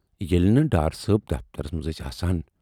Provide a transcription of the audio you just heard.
ییلہِ نہٕ ڈار صٲب دفترس منز ٲسۍ آسان۔